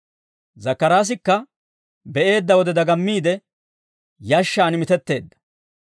Zakkaraasikka be'eedda wode dagammiide yashshaan mitetteedda.